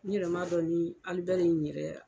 N yɛrɛ ma dɔn ni alibɛri yɛrɛ